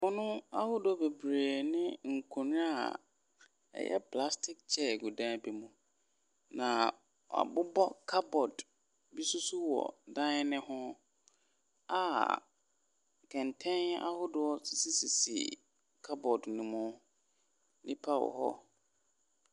Pono ahodoɔ bebree ne nkonwa a ɛyɛ plastik kyɛɛ gu dan bi mu. Na w'abobɔ kabɔd bi so so wɔ dan ne ho a kɛntɛn ahodoɔ sisi kabɔd no mu. Nnipa wɔhɔ.